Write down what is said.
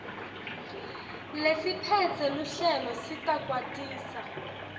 lesiphetse luhlelo sitakwatisa